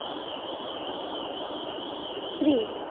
স্ত্রী